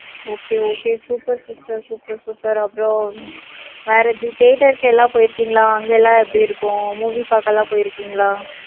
okay okay super sister super super அப்புறம், வேற உம் தியேட்டருக்கு எல்லாம் போயிருக்கீங்களா? அங்க எல்லாம் எப்படி இருக்கும்? Movie பார்க்க எல்லாம் போயிருக்கீங்களா?